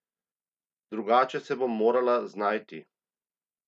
Drugače se bom morala znajti.